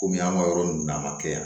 Kɔmi an ka yɔrɔ ninnu n'a ma kɛ yan